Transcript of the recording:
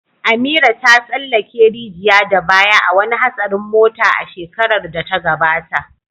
Amira ta tsallake rijiya da baya a wani hatsarin mota a shekarar da ta gabata.